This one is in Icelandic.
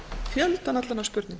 fjöldann allan af spurningum